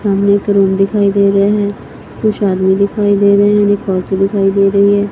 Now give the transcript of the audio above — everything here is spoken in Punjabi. ਸਾਹਮਣੇ ਇੱਕ ਰੂਮ ਦਿਖਾਈ ਦੇ ਰਿਹਾ ਹੈ ਕੁਝ ਆਦਮੀ ਦਿਖਾਈ ਦੇ ਰਹੇ ਨੇ ਇੱਕ ਔਰਤ ਦਿਖਾਈ ਦੇ ਰਹੀ ਹੈ।